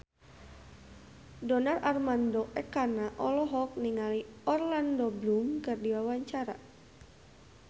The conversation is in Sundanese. Donar Armando Ekana olohok ningali Orlando Bloom keur diwawancara